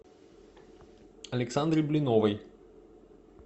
александре блиновой